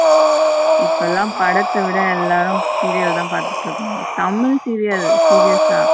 இப்போ எல்லாம் படத்த விட எல்லாரு serial தா பாத்துட்டு இருக்கோம். தமிழ் serial serious ஆ.